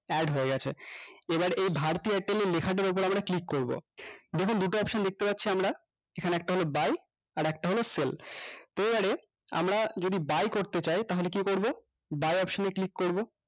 add হয়ে গেছে এবার এ bharti airtel লেখাটার উপর আমরা click করবো দেখুন দুটো option দেখতে পারছি আমরা এখানে একটা হলো buy আর একটা হলো sell তো এবারে আমরা যদি buy করতে চাই তাহলে কি করবো buy option এ click করবো